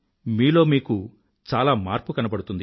మీలో మీకు చాలా మార్పు కనబడుతుంది